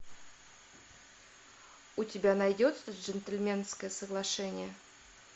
у тебя найдется джентльменское соглашение